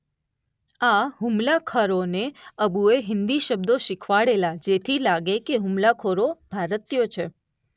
આ હુમલાખોરોને અબુએ હીન્દી શબ્દો શીખવાડેલા જેથી લાગે કે હુમલાખોરો ભારતીયો છે.